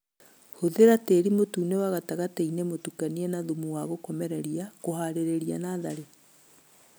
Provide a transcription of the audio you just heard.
Hũthĩra tĩri mũtune wa gatagatiinĩ mũtukanie na thumu wa gũkomereria kũharĩria natharĩ